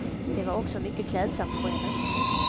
Det var också mycket klädsamt på henne.